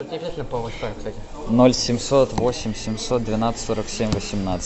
ноль семьсот восемь семьсот двенадцать сорок семь восемнадцать